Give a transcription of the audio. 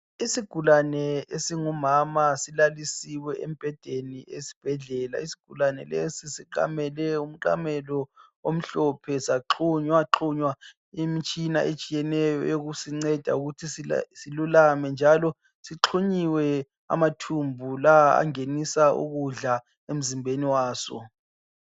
Isigulane esingumama silalisiwe embhedeni esibhedlela. Isigulane lesi siqamele umqamelo omhlophe saxhunywaxhunywa imitshina etshiyeneyo eyokusinceda ukuthi silulame njalo sixhunyiwe amathumbu lawa angenisa ukudla emzimbeni waso.